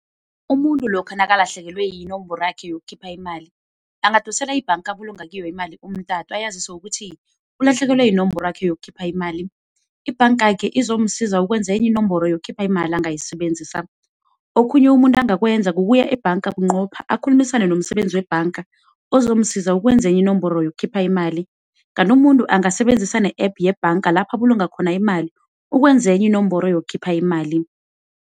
Umuntu lokha nakalahlekelwe yinomboro yakhe yokukhipha imali, angadosela ibhanga abulunga kiyo imali ayazise ukuthi ulahlekelwe yinomboro yakhe yokukhipha imali. Ibhangakhe izomsiza ukwenza enye inomboro yokukhipha imali angayisebenzisa. Okhunye umuntu angakwenza, kukuya ebhanga bunqopha akhulumisane nomsebenzi webhanga ozomsiza ukwenza inomboro enye yokukhipha imali. Kanti umuntu angasebenzisa ne-app yebhanga lapha abulunga khona imali ukwenza enye inomboro yokukhipha imali.